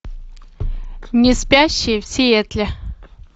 неспящие в сиэтле